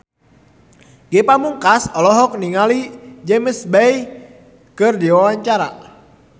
Ge Pamungkas olohok ningali James Bay keur diwawancara